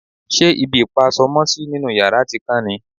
ṣe ibi ìpa aṣọ mọ́sí nínú yàrá ti kán ni?